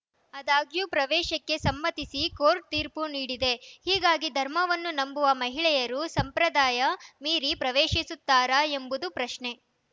ಆದಾಗ್ಯೂ ಪ್ರವೇಶಕ್ಕೆ ಸಮ್ಮತಿಸಿ ಕೋರ್ಟ್‌ ತೀರ್ಪು ನೀಡಿದೆ ಹೀಗಾಗಿ ಧರ್ಮವನ್ನು ನಂಬುವ ಮಹಿಳೆಯರು ಸಂಪ್ರದಾಯ ಮೀರಿ ಪ್ರವೇಶಿಸುತ್ತಾರಾ ಎಂಬುದು ಪ್ರಶ್ನೆ